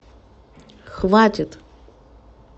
хватит